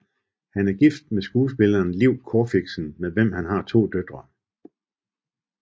Han er gift med skuespilleren Liv Corfixen med hvem han har to døtre